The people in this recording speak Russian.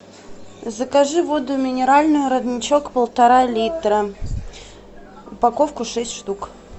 закажи воду минеральную родничок полтора литра упаковку шесть штук